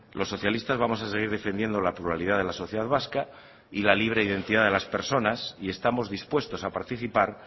los socialistas vamos a seguir defendiendo la pluralidad de la sociedad vasca y la libre identidad de las personas y estamos dispuestos a participar